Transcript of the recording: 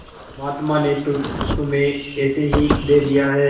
महात्मा ने तुम्हें ऐसे ही दे दिया है